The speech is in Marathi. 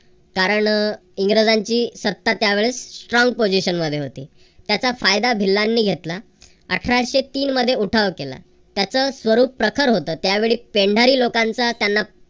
कारण अह इंग्रजांची सत्ता त्यावेळेस strongposition मध्ये होती त्याचा फायदा भिल्लांनी घेतला. अठराशे तीन मध्ये उठाव केला. त्याच स्वरूप प्रखर होत. त्यावेळी पेंढारी लोकांचा त्यांना